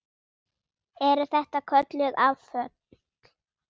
Eru þetta kölluð afföll.